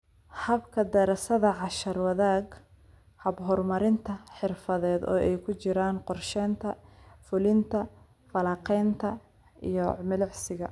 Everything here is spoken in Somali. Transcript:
Habka daraasadda cashar-wadaaga (hab horumarinta xirfadeed oo ay ku jiraan qorshaynta, fulinta, falanqaynta, iyo milicsiga).